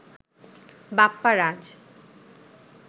Bapparaj